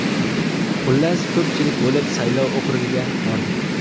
Xullas ko‘pchilik bo‘lib saylov okrugiga bordik.